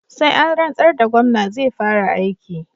Sai an rantsar da Gomna zai fara aiki